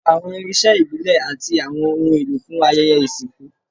Lo awọn irinṣẹ ibile ati awọn ohun elo fun ayẹyẹ isinku